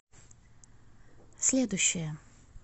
следующая